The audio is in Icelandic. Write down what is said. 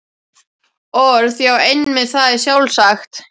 Orð.- Já, einmitt, það er sjálfsagt.